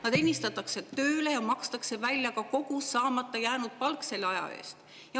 Nad ennistatakse tööle ja neile makstakse välja ka kogu saamata jäänud palk selle aja eest.